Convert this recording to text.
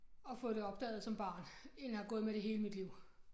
Og fået det opdaget som barn inden jeg havde gået med det hele mit liv